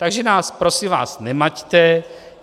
Takže nás prosím vás nemaťte.